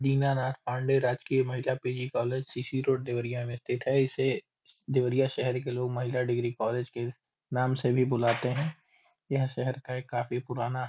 दीना नाथ पांडे राजकीय महिला PG. College CC. Road Deoria में स्थित है। इसे देवरिया शहर के लोग महिला डिग्री कॉलेज के नाम से भी बुलाते हैं। यह शहर का एक काफी पुराना --